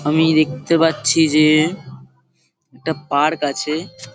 আমি দেখতে পাচ্ছি যে এটা পার্ক আছে।